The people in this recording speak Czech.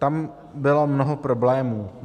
Tam bylo mnoho problémů.